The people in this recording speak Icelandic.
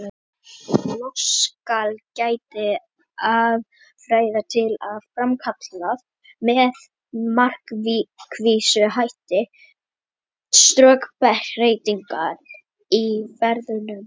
Loks skal getið aðferða til að framkalla með markvissum hætti stökkbreytingar í ferjuðum genum.